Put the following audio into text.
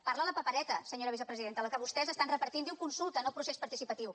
parla la papereta senyora vicepresidenta la que vostès estan repartint diu consulta no procés participatiu